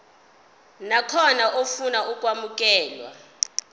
nakhona ofuna ukwamukelwa